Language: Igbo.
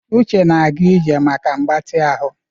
Uche na-aga ije maka mgbatị ahụ.